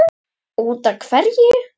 Út af hverju?